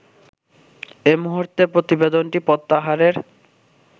এমুহুর্তে প্রতিবেদনটি প্রত্যাহারের